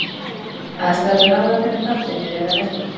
Aðstæðurnar ráða hvernig bakteríur eru að verki.